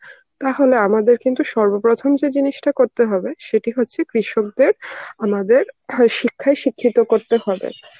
তাহলে আমাদের কিন্তু সর্বপ্রথম যে জিনিসটা করতে হবে সেটি হচ্ছে কৃষকদের আমাদের সেই শিক্ষায়ই শিক্ষিত করতে হবে.